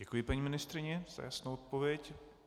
Děkuji paní ministryni za jasnou odpověď.